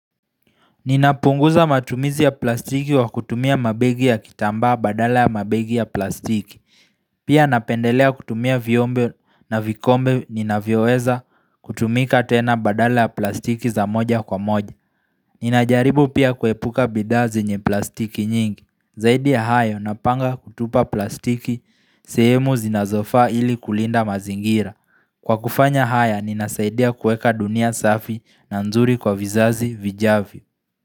Ninapunguza matumizi ya plastiki kwa kutumia mabegi ya kitambaa badala ya mabegi ya plastiki. Pia napendelea kutumia vyombo na vikombe ninavyoweza kutumika tena badala ya plastiki za moja kwa moja. Ninajaribu pia kuepuka bidhaa zenye plastiki nyingi. Zaidi ya hayo napanga kutupa plastiki sehemu zinazofa ili kulinda mazingira. Kwa kufanya haya ninasaidia kuweka dunia safi na nzuri kwa vizazi vijavyo.